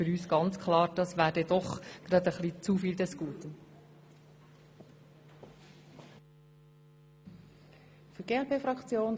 Für uns ist klar, dass dies doch des Guten zu viel wäre.